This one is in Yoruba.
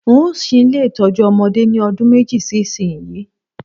N óò s̩í ilé ìtó̩jú o̩mo̩dé ní o̩dún méjì sí ìsinyìí